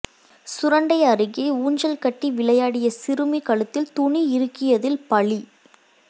சுரண்டை அருகே ஊஞ்சல் கட்டி விளையாடிய சிறுமி கழுத்தில் துணி இறுக்கியதில் பலி